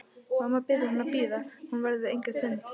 Mamma biður hann að bíða, hún verði enga stund.